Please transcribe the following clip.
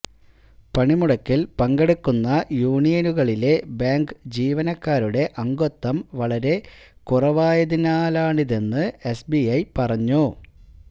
പണിമുടക്കിൽ പങ്കെടുക്കുന്ന യൂണിയനുകളിലെ ബാങ്ക് ജീവനക്കാരുടെ അഗത്വം വളരെ കുറവായതിനാലാണിതെന്ന് എസ്ബിഐ പറഞ്ഞു